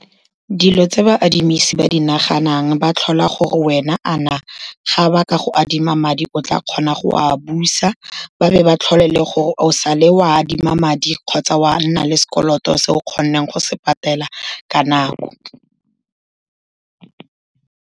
Dilo tse baadimisi ba di naganang, ba tlhola gore wena a na ga ba ka go adima madi o tla kgona go a busa, ba be ba tlhole le gore o sa le o adima madi kgotsa oa nna le sekoloto se o kgoneng go se patela ka nako.